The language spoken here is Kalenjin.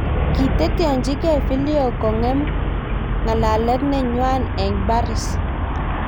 Kiteteanchigei Fillion kongonem ng'alalet ne ngwan eng Paris